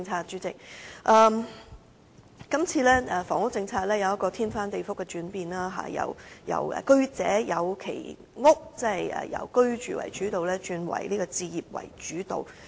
主席，這次房屋政策出現翻天覆地的轉變，由過去的"居者有其屋"為主導，改為置業主導。